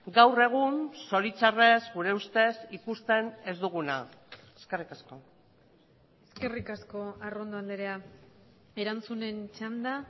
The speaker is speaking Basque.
gaur egun zoritxarrez gure ustez ikusten ez duguna eskerrik asko eskerrik asko arrondo andrea erantzunen txanda